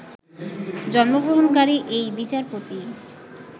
জন্মগ্রহণকারী এই বিচারপতি